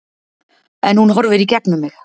En hún horfir í gegnum mig